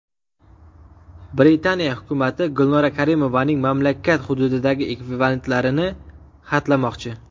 Britaniya hukumati Gulnora Karimovaning mamlakat hududidagi aktivlarini xatlamoqchi.